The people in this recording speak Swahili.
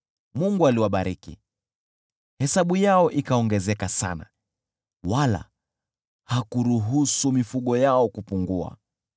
Mungu aliwabariki, hesabu yao ikaongezeka sana, wala hakuruhusu mifugo yao kupungua.